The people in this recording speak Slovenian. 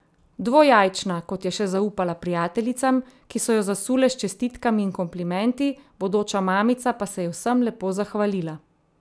Dvojajčna, kot je še zaupala prijateljicam, ki so jo zasule s čestitkami in komplimenti, bodoča mamica pa se je vsem lepo zahvalila.